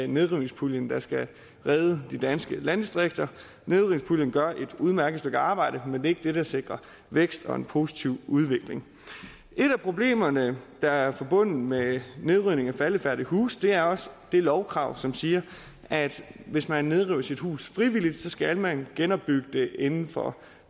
nedrivningspuljen der skal redde de danske landdistrikter nedrivningspuljen gør et udmærket stykke arbejde men det er ikke det der sikrer vækst og en positiv udvikling et af problemerne der er forbundet med nedrivning af faldefærdige huse er også det lovkrav som siger at hvis man nedriver sit hus frivilligt skal man genopbygge det inden for